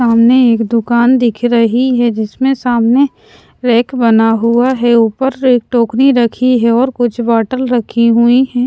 सामने एक दुकान दिख रही है जिसमें सामने रैक बना हुआ है ऊपर एक टोकनी रखी है और कुछ बॉटल रखीं हुईं हैं।